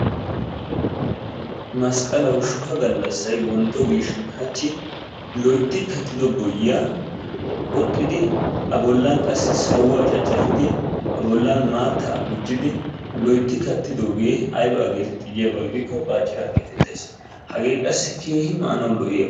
masqqalawu shuha galassay wonto giishsin hachchi loytti kattido boyiya qoxxidi a bollan wassi sawuwa caccafidi a bollan maattaa tigiddi loytti kattidoogee aybaa getetti giiko baaciraa gettettees, hagee qassi keehi maanawu lo'iyaba.